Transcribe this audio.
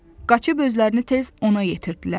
Qaçıb özlərini tez ona yetirdilər.